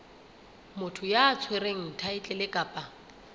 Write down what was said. motho ya tshwereng thaetlele kapa